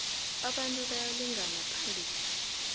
abantu bayalingana phambi